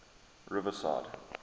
riverside